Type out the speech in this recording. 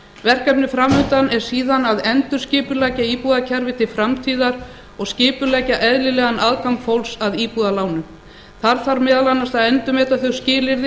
verkefnið fram undan er síðan að endurskipuleggja íbúðakerfið til framtíðar og skipuleggja eðlilegan aðgang fólks að íbúðalánum þar þarf meðal annars að endurmeta þau skilyrði